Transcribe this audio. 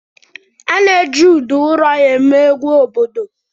A na-eji udu ụrọ eme egwu obodo.